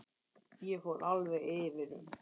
Ég fór alveg yfir um.